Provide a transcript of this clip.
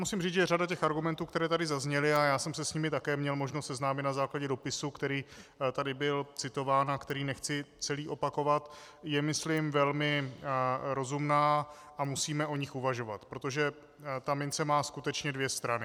Musím říci, že řada těch argumentů, které tady zazněly, a já jsem se s nimi také měl možnost seznámit na základě dopisu, který tady byl citován a který nechci celý opakovat, je myslím velmi rozumná a musíme o nich uvažovat, protože ta mince má skutečně dvě strany.